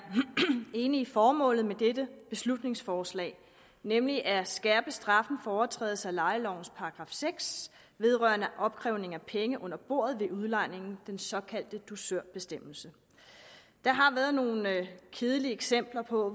enige i formålet med dette beslutningsforslag nemlig at skærpe straffen for overtrædelse af lejelovens § seks vedrørende opkrævning af penge under bordet ved udlejning den såkaldte dusørbestemmelse der har været nogle kedelige eksempler på